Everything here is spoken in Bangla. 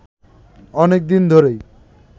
অনেকদিন ধরেই